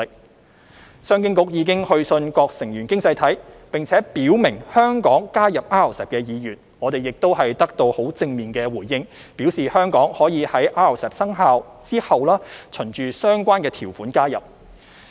商務及經濟發展局已去信各成員經濟體，並且表明香港加入 RCEP 的意願，並已得到正面回應，表示香港可在 RCEP 生效後循相關條款加入。